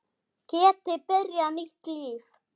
Geti byrjað nýtt líf.